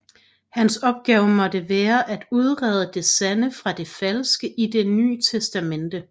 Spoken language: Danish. Hans opgave måtte være at udrede det sande fra det falske i Det Nye Testamente